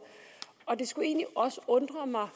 og det skulle egentlig også undre mig